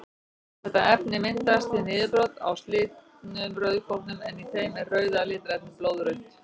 Þetta efni myndast við niðurbrot á slitnum rauðkornum en í þeim er rauða litarefnið blóðrauði.